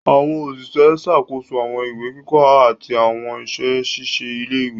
Àwọn Òṣìṣẹ́ ń ṣàkóso àwọn ìwé kíkọ àti àwọn iṣẹ ṣíṣe ilé-ìwé